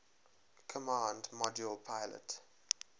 command module pilot